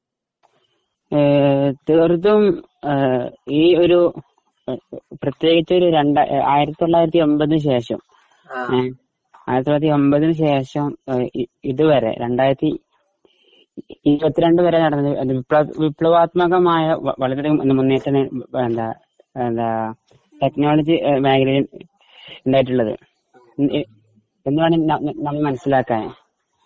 ങും.... തീർത്തും ഈയൊരു പ്രതേകിച്ചൊരു 1980 ന് ശേഷം 1980 ന് ശേഷം ഇതുവരെ രണ്ടായിരത്തി ഇരുപത്തിരണ്ടുവരെ നടന്ന വിപ്ലവാത്മകമായ പലതരം മുന്നേറ്റം